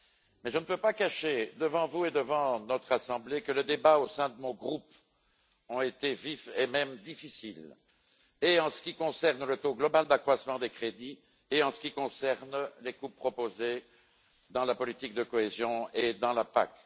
Mais je ne peux pas cacher, devant vous et devant notre assemblée, que les débats au sein de mon groupe ont été vifs et même difficiles, tant en ce qui concerne le taux global d'accroissement des crédits qu'en ce qui concerne les coupes proposées dans la politique de cohésion et dans la PAC.